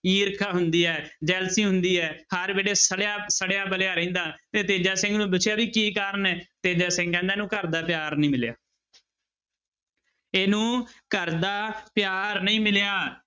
ਈਰਖਾ ਹੁੰਦੀ ਹੈ jealousy ਹੁੰਦੀ ਹੈ ਹਰ ਵੇਲੇ ਸੜਿਆ ਸੜਿਆ ਬਲਿਆ ਰਹਿੰਦਾ ਤੇ ਤੇਜਾ ਸਿੰਘ ਨੂੰ ਪੁੱਛਿਆ ਵੀ ਕੀ ਕਾਰਨ ਹੈ, ਤੇਜਾ ਸਿੰਘ ਕਹਿੰਦਾ ਇਹਨੂੰ ਘਰਦਾ ਪਿਆਰ ਨੀ ਮਿਲਿਆ ਇਹਨੂੰ ਘਰ ਦਾ ਪਿਆਰ ਨਹੀਂ ਮਿਲਿਆ।